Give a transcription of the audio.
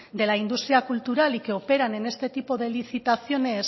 de la industria cultural y que operan en este tipo de licitaciones